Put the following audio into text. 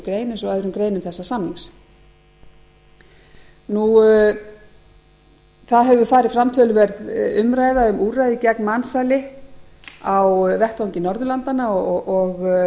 greinar eins og öðrum greinum þessa samning það hefur farið fram töluverð umræða um úrræði gegn mansali á vettvangi norðurlandanna og